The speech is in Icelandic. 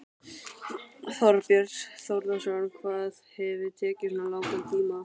Þorbjörn Þórðarson: Hvað hefur tekið svona langan tíma?